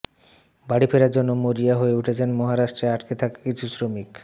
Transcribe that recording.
বাড়ি ফেরার জন্য মরিয়া হয়ে উঠেছেন মহারাষ্ট্রে আটকে থাকা কিছু শ্রমিক